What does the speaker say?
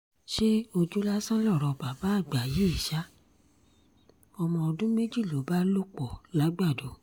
ṣé ojú lásán lọ̀rọ̀ bàbá àgbà yìí ṣa ọmọ ọdún méjì ló bá lò pọ̀ làgbàdo